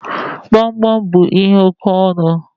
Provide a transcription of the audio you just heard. Gbamgbam bú ihe oke ọnụ